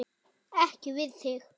Ekki við þig.